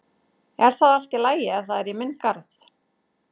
Er það allt í lagi ef það er í minn garð?